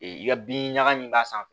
Ee i ka bin ɲaga min b'a san